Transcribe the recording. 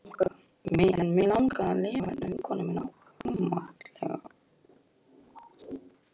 En mig langar að lifa, veinaði vinkonan ámátlega.